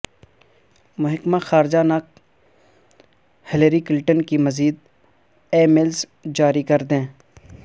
محکمہ خارجہ نے ہلری کلنٹن کی مزید ای میلز جاری کر دیں